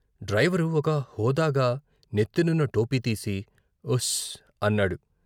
Driver ఒక హోదాగా నెత్తినున్న టోపీతీసి ' ఉస్ ' అన్నాడు.